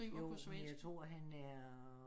Jo men jeg tror han er